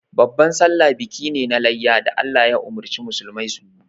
Babban sallah biki ne na layya da Allah ya umurci musulmai su yi.